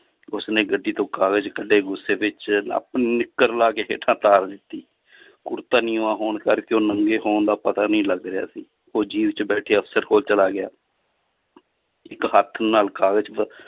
ਉਸਨੇ ਗੱਡੀ ਤੋਂ ਕਾਗਜ਼ ਕੱਢੇ ਗੁੱਸੇ ਵਿੱਚ ਆਪਣੀ ਨਿੱਕਰ ਲਾ ਕੇ ਹੇਠਾਂ ਤਾਰ ਦਿੱਤੀ ਕੁੜਤਾ ਨੀਵਾਂ ਹੋਣ ਕਰਕੇ ਉਹ ਨੰਗੇ ਹੋਣ ਦਾ ਪਤਾ ਨੀ ਲੱਗ ਰਿਹਾ ਸੀ ਉਹ ਜੀਪ 'ਚ ਬੈਠੇ ਅਫ਼ਸਰ ਕੋਲ ਚਲਾ ਗਿਆ ਇੱਕ ਹੱਥ ਨਾਲ ਕਾਗਜ਼ ਵ~